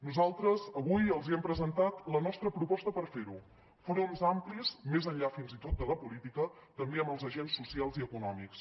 nosaltres avui els hem presentat la nostra proposta per fer ho fronts amplis més enllà fins i tot de la política també amb els agents socials i econòmics